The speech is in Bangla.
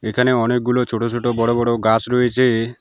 এখানে অনেকগুলো ছোট ছোট বড় বড় গাস রয়েছে।